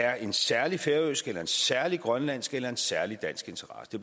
er en særlig færøsk en særlig grønlandsk eller en særlig dansk interesse det